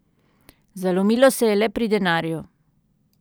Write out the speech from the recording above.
Zalomilo se je le pri denarju.